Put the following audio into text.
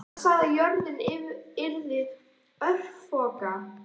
Hann sagði að jörðin yrði örfoka.